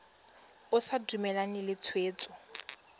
o sa dumalane le tshwetso